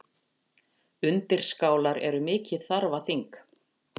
Undirskálar eru mikið þarfaþing.